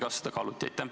Kas seda kaaluti?